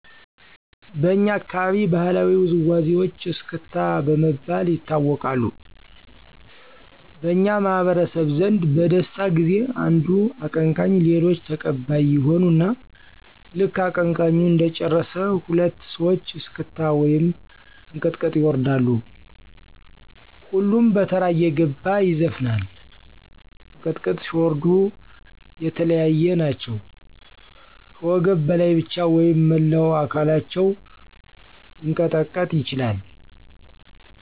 በኛ አካባቢ ባህላዊ ውዝዋዜወች እስክስታ በመባል ይታወቃሉ። በኛ ማህበረሰብ ዘንድ በደስታ ጊዜ አንዱ አቀንቀኝ ሌሎች ተቀባይ ይሆኑና ልክ አቀንቃኙ እንደጨረሰ ሁለት ሰወች እስክታ ወይም እንቅጥቅጥ ይወርዳሉ። ሁሉም በተራ እየገባ ይዘፍናል። እንቅጥቅጥ ሲወርዱ የለያየ ናቸው ከወገብ በላይ ብቻ ወይም መላው አከላቸው ሊቀጠቀጥ ይችላል።